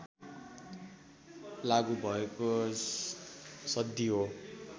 लागु भएको सन्धि हो